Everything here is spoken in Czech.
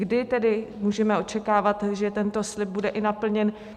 Kdy tedy můžeme očekávat, že tento slib bude i naplněn?